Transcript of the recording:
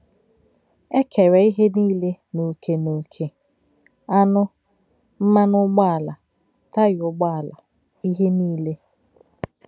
“ É kéré̄ íhè níle n’ò̄kè̄ n’ò̄kè̄ — ànụ̄, mmànụ̄ ǔgbọ̀álá̄, táyà ǔgbọ̀álá̄, íhè níle.